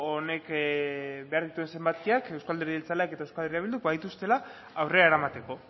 honek behar dituen zenbakiak euzko alderdi jeltzaleak eta euskal herria bilduk badituztela aurrera eramateko